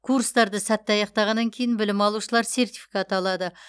курстарды сәтті аяқтағаннан кейін білім алушылар сертификат алады